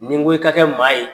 Ni n ko i ka kɛ maa ye.